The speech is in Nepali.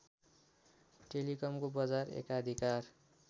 टेलिकमको बजार एकाधिकार